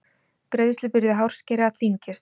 Greiðslubyrði hárskera þyngist